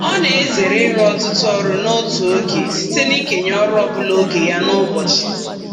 Ọ na-ezere ịrụ ọtụtụ ọrụ n'otu oge site n'ikenye ọrụ ọbụla oge ya n'ụbọchị.